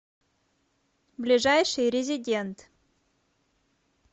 ближайший резидент